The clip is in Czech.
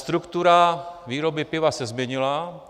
Struktura výroby piva se změnila.